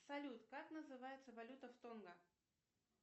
салют как называется валюта в тонго